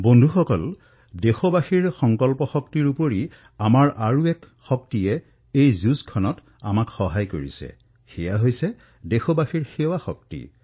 বন্ধুসকল দেশবাসীসকলৰ সংকল্প শক্তিৰ সৈতে এটা আৰু শক্তি এই যুদ্ধত আমাৰ সৈতে আছেসেয়া হল দেশবাসীসকলৰ সেৱা শক্তি